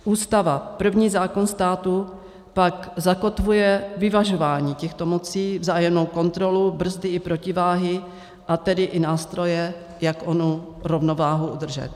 Ústava, první zákon státu, pak zakotvuje vyvažování těchto mocí, vzájemnou kontrolu, brzdy i protiváhy, a tedy i nástroje, jak onu rovnováhu udržet.